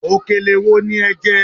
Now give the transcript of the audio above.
Òkèlè wo ni ẹ jẹ́?